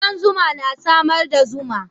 Kudan zuma na samar da zuma.